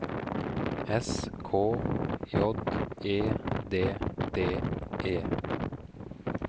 S K J E D D E